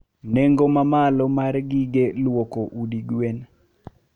nengo mamalo mar gige luoko udi gwen.